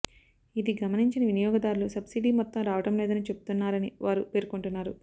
ఇది గమనించని వినియోగదారులు సబ్సిడీ మొత్తం రావడం లేదని చెబుతున్నరని వారు పేర్కొంటున్నారు